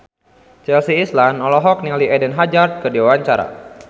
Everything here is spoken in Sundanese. Chelsea Islan olohok ningali Eden Hazard keur diwawancara